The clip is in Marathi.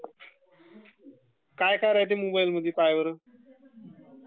काय काय राहते मोबाइलमध्ये पाह्यबर...